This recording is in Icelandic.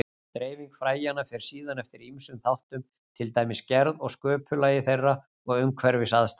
Dreifing fræjanna fer síðan eftir ýmsum þáttum, til dæmis gerð og sköpulagi þeirra og umhverfisaðstæðum.